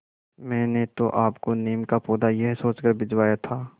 मैंने तो आपको नीम का पौधा यह सोचकर भिजवाया था